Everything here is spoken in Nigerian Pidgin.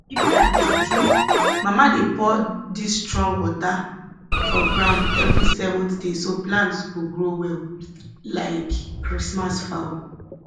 e be like juju mama dey pour dis strong water for ground every seventh day so plants go grow well like christmas fowl